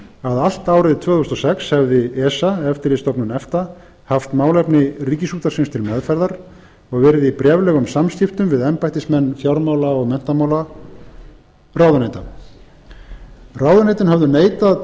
að allt árið tvö þúsund og sex hefði esa eftirlitsstofnun efta haft málefni ríkisútvarpsins til meðferðar og verið í bréflegum samskiptum við embættismenn fjármála og menntamálaráðuneyta ráðuneytin höfðu neitað